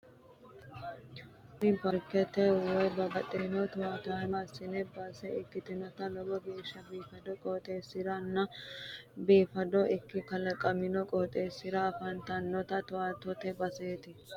Tini paarkete woy babbaxitino towaanyo assinna base ikkitanna lowo geeshsha biifadu qooxeessira nna biifado ikkino kalaqqinna qooxeessira afantano toowaanyote baseeti.